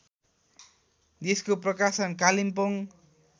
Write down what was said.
यसको प्रकाशन कालिम्पोङ